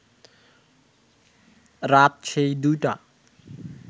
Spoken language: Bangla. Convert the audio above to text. রাত সেই দুইটা